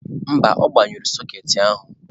mba, ọ gbanyụrụ sokeetị a.